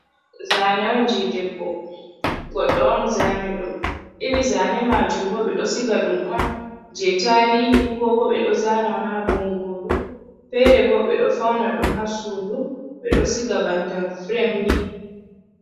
Zane on je debbo goddoon zani ɗum iri zane majum bo ɓe ɗo siga ɗum on je tarihi ko bo ɓe ɗo zana on ha bongoru, fere bo ɓe ɗo fauna ɗum ha sudu be ɗo siga banta fremni.